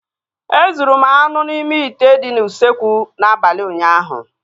Ezuru m anụ n'ime ite dị n'usekwu n'abalị ụnyaahụ